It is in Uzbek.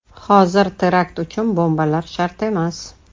Hozir terakt uchun bombalar shart emas.